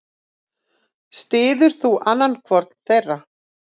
Styður þú annan hvorn þeirra?